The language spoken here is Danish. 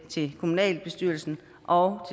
til kommunalbestyrelsen og